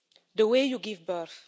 the way you give birth.